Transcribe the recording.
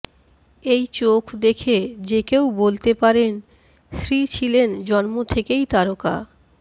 এই চোখ দেখে যেকেউ বলতে পারেন শ্রী ছিলেন জন্ম থেকেই তারকা